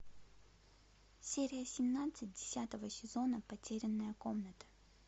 серия семнадцать десятого сезона потерянная комната